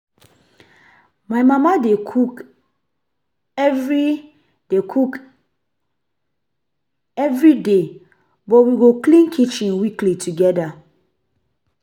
My mama dey cook every day cook everyday, but we go clean kitchen weekly together.